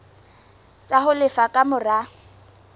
tsa ho lefa ka mora